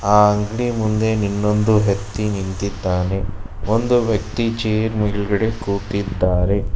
ಆ ಅಂಗಡಿ ಮುಂದೆ ಇನ್ನೊಂದು ವ್ಯಕ್ತಿ ನಿಂತಿದ್ದಾನೆ ಒಂದು ವ್ಯಕ್ತಿ ಚೇರ್ ಮೇಲ್ಗಡೆ ಕೂತಿದ್ದಾರೆ.